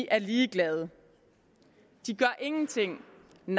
er ligeglade de gør ingenting